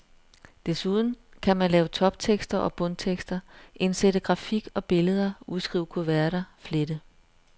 Desuden kan man lave toptekster og bundtekster, indsætte grafik og billeder, udskrive kuverter, flette.